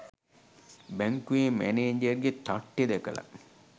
බැංකුවෙ මැනේජර්ගෙ තට්ටෙ දැකලා